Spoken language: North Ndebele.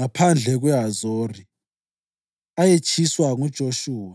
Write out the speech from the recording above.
abalamacala okubulala), iLibhina,